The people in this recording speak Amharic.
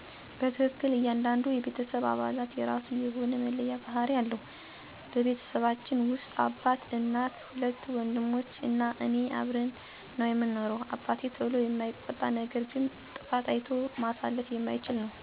በትክክል ! እያንዳንዱ የቤተሰብ አባላት የራሱ የሆነ መለያ ባህሪ አለው። በቤተሰባችን ውስጥ አባት፣ እናት፣ ሁለት ወንድሞች እና እኔ አብረን ነው ምንኖረው። አባቴ ቶሎ የማይቆጣ ነገር ግን ጥፋት አይቶ ማለፍ የማይችል ነው፤ እናቴ ደግሞ ያው እንደማንኛውም የኢትዮጲያ እናት ሆደ ቡቡ ናት እንዲሁም ልጆቿን ተንከባካቢም ናት፤ እኔ ሁለተኛ ልጅ እንደመሆኔ ታላቅ ወንድሜ ፈታ ያለ በዘመኑ ቋንቋ አራዳ የምንለው ነው። ለመግባባት ቀላል የሆነ ባህሪ አለው፤ እኔ እና ታናሽ ወንድሜ ተመሳሳይ ባህሪ አለን። ሁለታችንም ቶሎ የሚከፋን እና ቶሎ የምንደስት ነን።